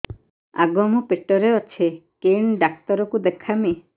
ଆଗୋ ମୁଁ ପେଟରେ ଅଛେ କେନ୍ ଡାକ୍ତର କୁ ଦେଖାମି